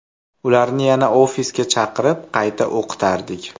Ularni yana ofisga chaqirib, qayta o‘qitardik.